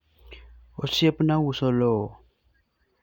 osiepna uso lowo